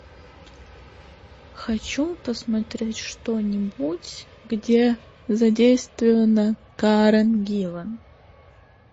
хочу посмотреть что нибудь где задействована карен гиллан